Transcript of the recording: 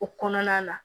O kɔnɔna na